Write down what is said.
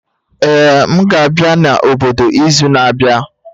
Ee, m ga-abịa n'obodo izu na-abịa